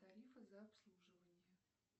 тарифы за обслуживание